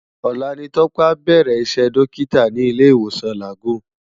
Ólà ni Tope á bèrè Isè Dòkitá ni Ilé Iwósòn Lágùn